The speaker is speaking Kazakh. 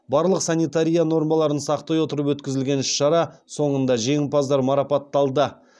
барлық санитария нормаларын сақтай отырып өткізілген іс шара соңында жеңімпаздар марапатталды